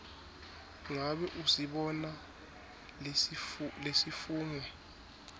ngabe usibona lesifungo